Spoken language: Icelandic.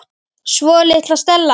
Svo litla Stella.